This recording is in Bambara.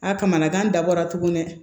A kamanagan dabɔra tuguni dɛ